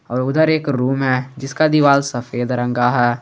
और उधर एक रूम है जिसका दीवाल सफेद रंग का है।